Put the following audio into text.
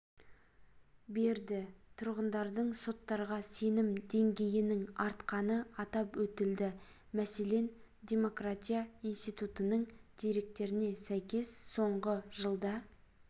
берді тұрғындардың соттарға сенім деңгейінің артқаны атап өтілді мәселен демократия институтының деректеріне сәйкес соңғы жылда